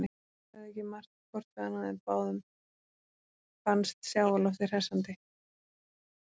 Þau sögðu ekki margt hvort við annað en báðum fannst sjávarloftið hressandi.